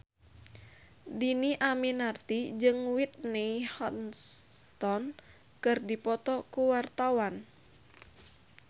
Dhini Aminarti jeung Whitney Houston keur dipoto ku wartawan